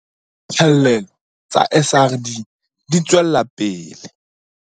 Diphallelo tsa SRD di tswela pele